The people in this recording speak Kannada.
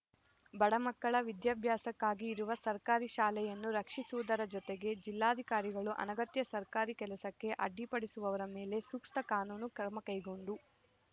ಬಡಮಕ್ಕಳ ವಿದ್ಯಾಭ್ಯಾಸಕ್ಕಾಗಿ ಇರುವ ಸರ್ಕಾರಿ ಶಾಲೆಯನ್ನು ರಕ್ಷಿಸುವುದರ ಜೊತೆಗೆ ಜಿಲ್ಲಾಧಿಕಾರಿಗಳು ಅನಗತ್ಯ ಸರ್ಕಾರಿ ಕೆಲಸಕ್ಕೆ ಅಡ್ಡಿಪಡಿಸುವವರ ಮೇಲೆ ಸೂಕ್ತ ಕಾನೂನು ಕ್ರಮಕೈಗೊಂಡು